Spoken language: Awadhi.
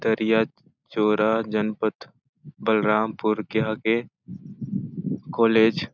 तरिया चोरा जनपद बलरामपुर के आगे कॉलेज --